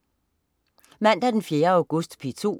Mandag den 4. august - P2: